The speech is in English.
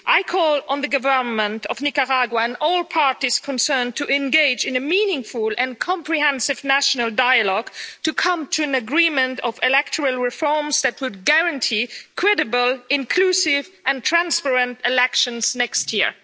I call on the Government of Nicaragua and all parties concerned to engage in a meaningful and comprehensive national dialogue to come to an agreement of electoral reforms that would guarantee credible, inclusive and transparent elections next year.